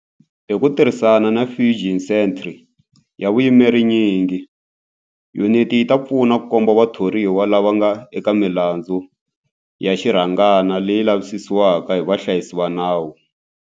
Hi ku tirhisana na Fusion Centre ya vuyimeri nyingi, yuniti yi ta pfuna ku komba vathoriwa lava nga eka milandzu ya xirhangana leyi lavisisiwaka hi vahlayisi va nawu.